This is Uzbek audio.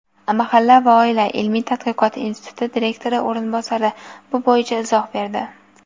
"Mahalla va oila" ilmiy tadqiqot instituti direktori o‘rinbosari bu bo‘yicha izoh berdi.